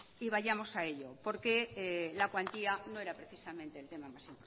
y vayamos a ello porque la cuantía no era precisamente el tema más